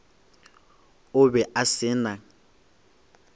o be a se na